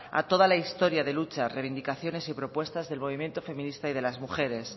a toda la historia de lucha reivindicaciones y propuestas del movimiento feminista y de las mujeres